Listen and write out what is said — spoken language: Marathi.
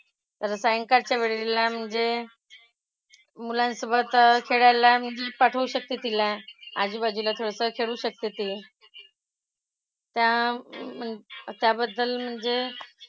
तर सायंकाळच्या वेळेला मुझे मुलांसोबत खेळायला मी पाठवू शकते तिला. आजूबाजूला थोडंसं खेळू शकते ती. त्या म्हण त्याबद्दल म्हणजे,